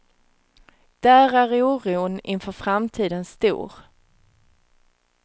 Där är oron inför framtiden stor.